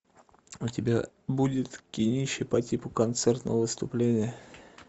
у тебя будет кинище по типу концертного выступления